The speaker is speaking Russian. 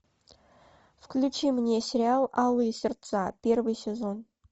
включи мне сериал алые сердца первый сезон